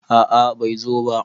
A`a bai zo ba